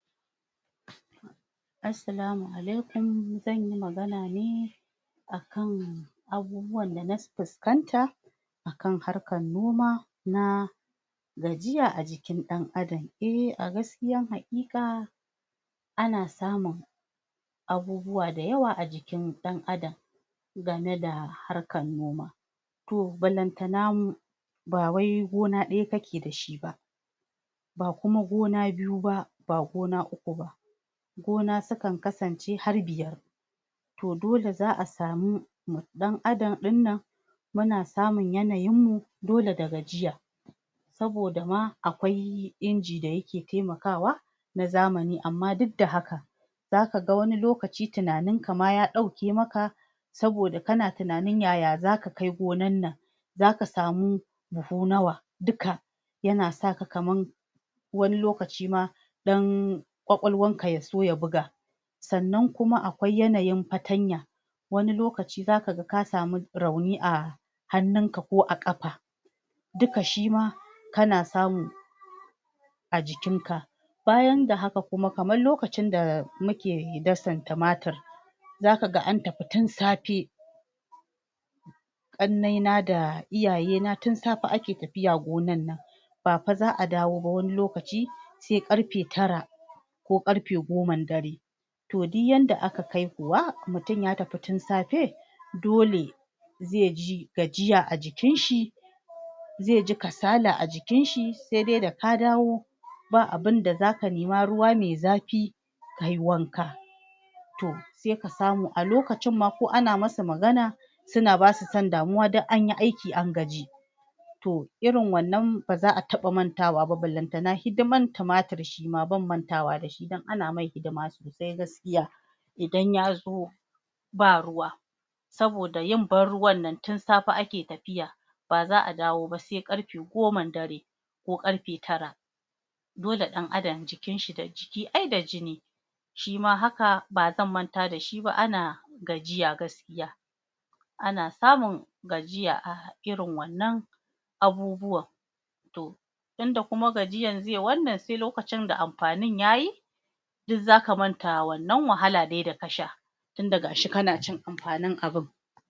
Assalamu Alaikum. Zan yi magana ne akan abubuwan da na puskanta akan harkan noma na gajiya a jikin ɗan adam. Eh a gaskiyan haƙiƙa ana samun abubuwa dayawa a jikin ɗan adam game da harkan noma to ballantana ba wai gona ɗaya kake da shi ba ba kuma gona biyu ba, ba gona uku ba gona sukan kasance har biyar to dole za a samu ɗan adam ɗinnan muna samun yanayin mu dole da gajiya saboda ma akwai inji da yake temakwa na zamani amma duk da haka zaka ga wani lokaci tunanin ka ma ya ɗauke maka saboda kana tunanin yaya zaka kai gonan nan zaka samu buhu nawa duka yana sa ka kaman wani lokaci ma ɗan ƙwaƙwalwan ka ya so ya buga sannan kuma akwai yanayin patanya wani lokaci zaka ga ka samu rauni a hannunka ko a ƙapa duka shima kana samu a jikin ka bayan ad haka kuma kaman lokacin da muke dasan tumatur zaka ga an tapi tun sape ƙannai na da iyaye na tun sape ake tapiya gonan nan ba pa za a dawo ba wani lokaci se ƙarpe tara ko ƙarpe goman dare to duk yanda aka kai kuwa mutum ya tapi tun sape dole ze ji gajiya a jikin shi ze ji kasala a jikin shi se de da ka dawo ba abunda zaka nema ruwa me zapi kayi wanka to se ka samua lokacin ma ko ana masa magana suna basu san damuwa duk anyi aiki an gaji to irin wannan ba za a taɓa mantawa ba ballantana hidiman tumatur shi ma ban mantawa da shi dan ana mai hidima sosai gaskiya idan ya zo ba ruwa saboda yin ban ruwan nan tun saoe ake tapiya ba za a dawo ba se ƙarpe goman dare ko ƙarpe tara dole ɗan adam jikin shi da jiki ai da jini shima haka ba zan manta da shi ba ana gajiya gaskiya ana samun gajiya airin wannan abubuwan to tunda kuma gajiyan ze wannan se lokacin da ampanin ya yi duk za a manta wannan wahala de da ka sha tunda ga shi kana cin ampanin abun.